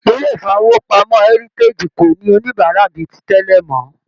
ilé ifowopamọ Heritage kò ní oníbárà bíi tí tẹlẹ mọ.